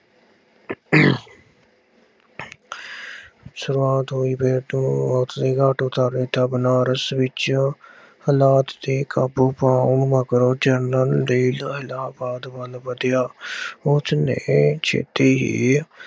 ਸ਼ੁਰੂਆਤ ਹੋਈ ਫੇਰ ਤੋਂ ਬਨਾਰਸ ਵਿੱਚ ਹਾਲਾਤ ਤੇ ਕਾਬੂ ਪਾਉਣ ਮਗਰੋਂ ਜਰਨਲ ਜਾਇਦਾਦ ਵੱਲ ਵਧਿਆ। ਉਸਨੇ ਛੇਤੀ ਹੀ